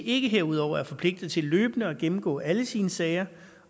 ikke herudover er forpligtet til løbende at gennemgå alle sine sager